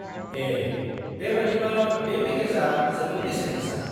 -ए, बे बायदिबा, बे पेकेजआ जोबोद बेसेन गोसा।